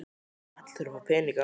Allir þurfa að fá peninga.